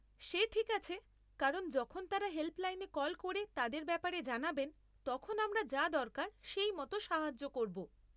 সে ঠিক আছে কারণ যখন তাঁরা হেল্পলাইনে কল করে তাদের ব্যাপারে জানাবেন, তখন আমরা যা দরকার সেই মতো সাহায্য করব।